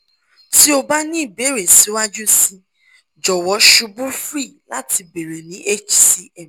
ti o ba ni ibeere siwaju sii jọwọ ṣubu cs] free lati beere ni hcm